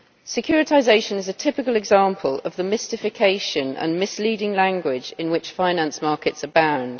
Securitisation is a typical example of the mystification and misleading language in which finance markets abound.